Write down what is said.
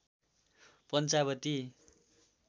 Panchavati